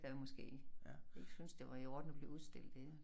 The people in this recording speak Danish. Der måske ikke syntes det var i orden at blive udstillet inde